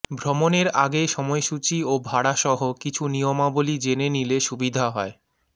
ভ্রমণের আগে সময়সূচি ও ভাড়াসহ কিছু নিয়মাবলী জেনে নিলে সুবিধা হয়